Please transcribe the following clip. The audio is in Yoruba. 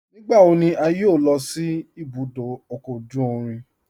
Nígbàwọ̀ ní à yọ́ò lọ sí ìbùdó ọkọ ojú ìrìn?